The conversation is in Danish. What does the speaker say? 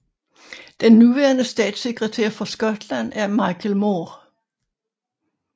Den nuværende statssekretær for Skotland er Michael Moore